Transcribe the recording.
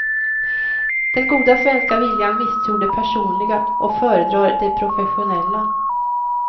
Den goda svenska viljan misstror det personliga och föredrar det professionella.